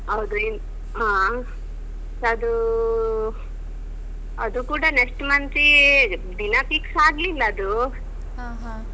ಹೌದುರಿ ಅದೂ ಅದು ಕೂಡ next month ತೇ ದಿನ fix ಆಗ್ಲಿಲ್ಲ ಅದು.